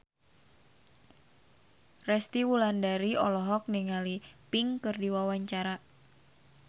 Resty Wulandari olohok ningali Pink keur diwawancara